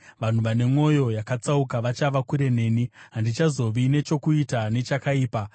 Vanhu vane mwoyo yakatsauka vachava kure neni; handichazovi nechokuita nechakaipa.